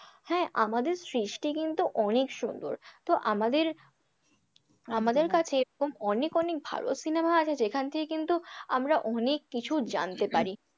হ্যাঁ আমাদের সৃষ্টি কিন্তু অনেক সুন্দর তো আমাদের আমাদের কাছে এরকম অনেক অনেক ভালো cinema আছে যেখান থেকে কিন্তু আমরা অনেক কিছু জানতে পারি।